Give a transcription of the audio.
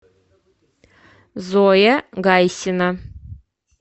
зоя гайсина